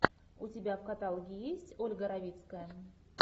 у тебя в каталоге есть ольга равицкая